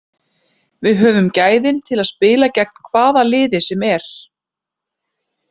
Við höfum gæðin til að spila gegn hvaða liði sem er.